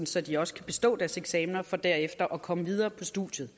så de også kan bestå deres eksamener for derefter at komme videre på studiet